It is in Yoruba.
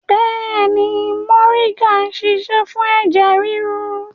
Bẹ́ẹ̀ni, moringa ń ṣiṣẹ́ fún ẹ̀jẹ̀ ríru